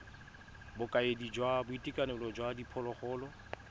bokaedi jwa boitekanelo jwa diphologolo